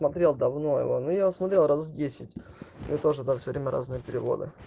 смотрел давно его ну я смотрел раз десять и тоже все время разные переводы